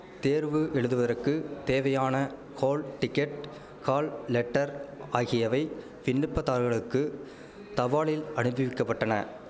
தேர்வு எழுதுவதக்கு தேவையான ஹோல் டிக்கெட் ஹால் லெட்டர் ஆகியவை விண்ணப்பதாரர்களுக்கு தபாலில் அனுப்பிவிக்கப்பட்டன